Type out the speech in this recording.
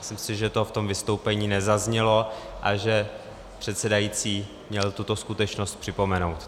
Myslím si, že to v tom vystoupení nezaznělo a že předsedající měl tuto skutečnost připomenout.